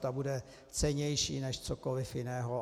Ta bude cennější než cokoliv jiného.